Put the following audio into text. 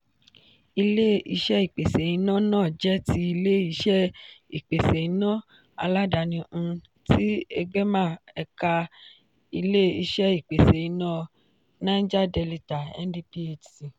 ile-iṣẹ ìpèsè iná náà jẹ́ tí ilé-iṣé ìpèsè iná aládàáni um tí egbema ẹ̀ka ilé-iṣé ìpèsè iná naija delita (ndphc).